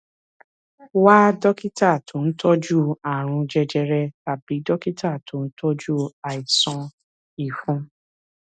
wá dókítà tó ń tọjú ààrùn jẹjẹrẹ tàbí dókítà tó ń tọjú àìsàn ìfun